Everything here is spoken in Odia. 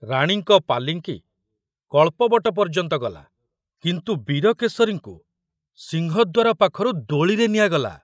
ରାଣୀଙ୍କ ପାଲିଙ୍କି କଳ୍ପବଟ ପର୍ଯ୍ୟନ୍ତ ଗଲା, କିନ୍ତୁ ବୀରକେଶରୀଙ୍କୁ ସିଂହଦ୍ୱାର ପାଖରୁ ଦୋଳିରେ ନିଆଗଲା।